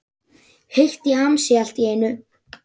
Heitt í hamsi allt í einu.